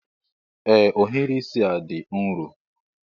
Ee ohiri isi a dị nro